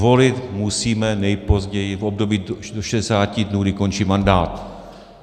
Volit musíme nejpozději v období do 60 dnů, kdy končí mandát.